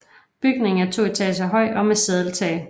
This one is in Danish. Bygningen er to etager høj og med sadeltag